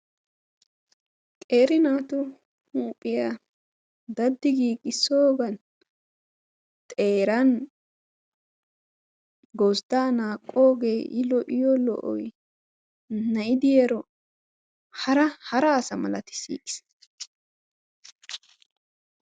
Qeeri naatu huuphiya daddi giigissoogan xeeran gozddaa naaqqoogee I lo'iyo lo'oyi na'i diyaro hara hara asa malatissiigis.